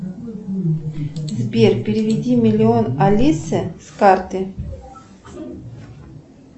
сбер переведи миллион алисы с карты